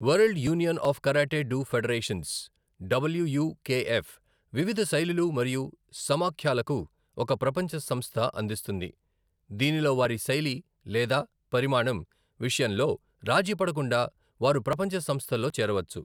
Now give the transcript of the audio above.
World union of karate do federations, W U K F వివిధ శైలులు మరియు సమాఖ్యలకు ఒక ప్రపంచ సంస్థ అందిస్తుంది, దీనిలో వారి శైలి లేదా పరిమాణం విషయంలో రాజీపడకుండా వారు ప్రపంచ సంస్థలో చేరవచ్చు.